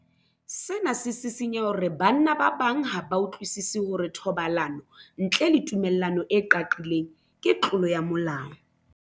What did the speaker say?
Sena se sisinya hore banna ba bang ha ba utlwisisi hore thobalano ntle le tumello e qaqileng ke tlolo ya molao.